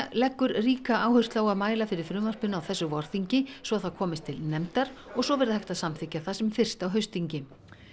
leggur ríka áherslu á að mæla fyrir frumvarpinu á þessu vorþingi svo það komist til nefndar og svo verði hægt að samþykkja það sem fyrst á haustþingi